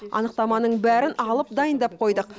анықтаманың бәрін алып дайындап қойдық